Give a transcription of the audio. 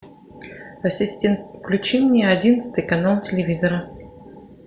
ассистент включи мне одиннадцатый канал телевизора